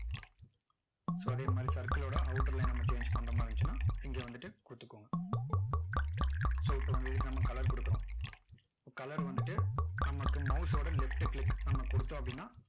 so அதே மாதிரி circle ஓட outer line அ நம்ம change பண்ற மாதிரி இருந்துச்சுன்னா இங்க வந்துட்டு கொடுத்துகோங்க so இப்போ வந்துட்டு நம்ம color கொடுக்கிறோம் color வந்துட்டு நமக்கு mouse ஓட left click நம்ம கொடுத்தோம் அப்படின்னா